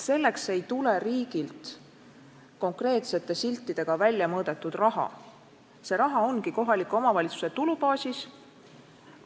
Riigilt ei tule selleks tööks konkreetsete siltidega väljamõõdetud raha, see raha on kohaliku omavalitsuse tulubaasis.